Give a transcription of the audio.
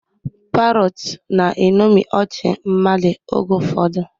Parrots na-eṅomi ọchị mmadụ oge ụfọdụ.